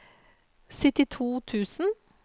syttito tusen